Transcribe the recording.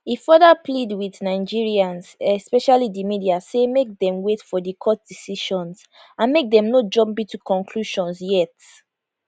e further plead wit nigerians especially di media say make dem wait for di court decisions and make dem no jump into conclusions yet